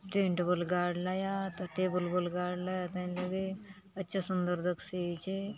टेंट बले गाड़लाय आत टेबल बले गाड़लाय आत हय लगे अच्छा सुंदर दखसि आचे।